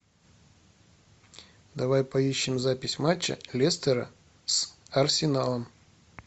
давай поищем запись матча лестера с арсеналом